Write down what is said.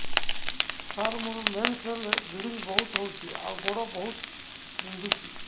ସାର ମୋର ମେନ୍ସେସ ହେଲେ ବ୍ଲିଡ଼ିଙ୍ଗ ବହୁତ ହଉଚି ଆଉ ଗୋଡ ବହୁତ ବିନ୍ଧୁଚି